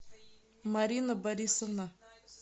марина борисовна